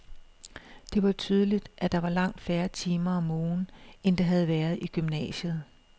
Det var tydeligt, at der var langt færre timer om ugen, end der havde været i gymnasiet.